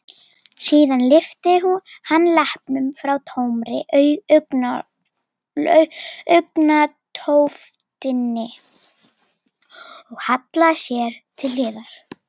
Síðan lyfti hann leppnum frá tómri augnatóftinni og hallaði sér til hliðar.